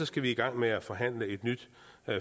skal vi i gang med at forhandle et nyt